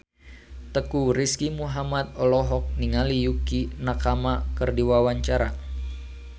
Teuku Rizky Muhammad olohok ningali Yukie Nakama keur diwawancara